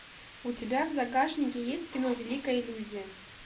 у тебя в загашнике есть кино великая иллюзия